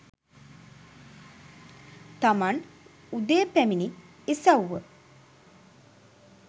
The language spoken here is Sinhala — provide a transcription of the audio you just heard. තමන් උදේ පැමිණි ඉස්ව්ව